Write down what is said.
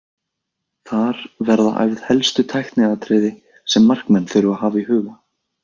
Þar verða æfð helstu tækniatriði sem markmenn þurfa að hafa í huga.